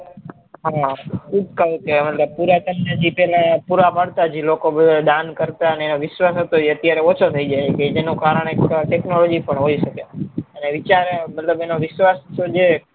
હા ઉપકાર કે મતલબ પુરાતન જી ના પેહલા પુરા પડતા હતા જે લોકો દાન કરતા અને વિશ્વાસ હતો એ અત્યારે ઓછો થઇ જાય છે તેનું કારણ એ technology પણ હોય સકે અને એનો વિશ્વાસ તો જે